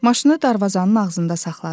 Maşını darvazanın ağzında saxladı.